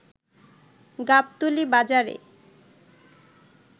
গাবতলী বাজারে